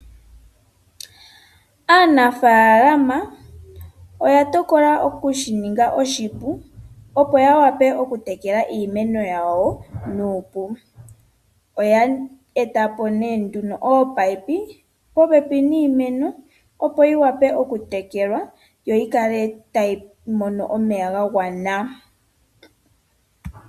Aanafaalama, oya tokola okushininga oshipu, opo yawape okutekela iimeno yawo nuupu. Oya etapo nduno ominino popepi niimeno, opo yiwape okutekelwa, yo yikale tayi mono omeya ga gwana.